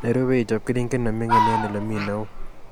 Nerube ichob keringet neming'in eng olemii neoo